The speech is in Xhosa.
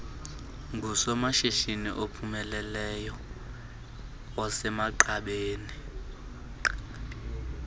ngusomashishini ophumeleleyo osemagqabini